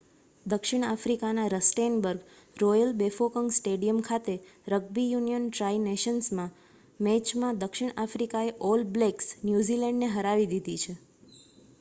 દક્ષિણ આફ્રિકાના Rustenburg Royal Bafokeng Stadium ખાતે રગ્બી યુનિયન ટ્રાઇ નેશન્સ મેચમાં દક્ષિણ આફ્રિકાએ ઓલ બ્લેક્સ ન્યૂઝીલેન્ડ ને હરાવી દીધી છે